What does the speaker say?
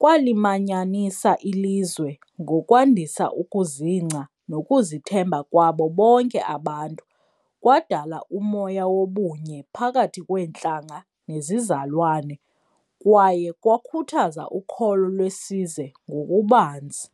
kwalimanyanisa ilizwe ngokwandisa ukuzingca nokuzithemba kwabo bonke abantu. Kwadala umoya wobunye phakathi kweentlanga nezizalwane kwaye kwakhuthaza ukholo lwesize ngokubanzi.